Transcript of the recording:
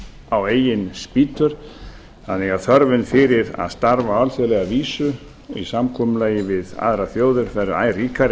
á eigin spýtur þannig að þörfin fyrir að starfa á alþjóðlega vísu í samkomulagi við aðrar þjóðir verður æ ríkari